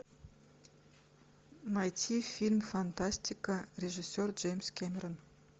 найти фильм фантастика режиссер джеймс кэмерон